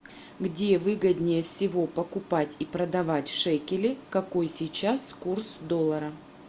где выгоднее всего покупать и продавать шекели какой сейчас курс доллара